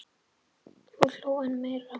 Hún hló enn meira.